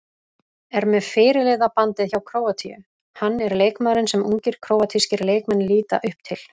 Er með fyrirliðabandið hjá Króatíu, hann er leikmaðurinn sem ungir króatískir leikmenn líta upp til.